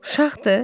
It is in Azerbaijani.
Uşaqdır?